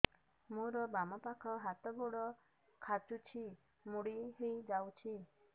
ମୋର ବାମ ପାଖ ହାତ ଗୋଡ ଖାଁଚୁଛି ମୁଡି ହେଇ ଯାଉଛି